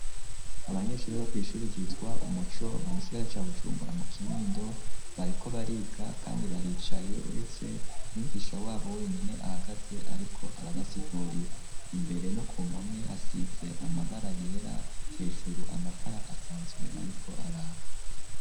Abanyeshuri bo kw'ishuri yitwa umuco mu gisigara ca Bujumbura mu Kinindo bariko bariga kandi baricaye uretse umwigisha wabo wenyene ahagaze ariko arabasigurira, imbere no ku mpome hasize amabara yera ,hejuru amatara asanzwe ariko araka.